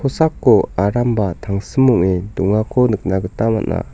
aramba tangsim ong·e dongako nikna gita man·a.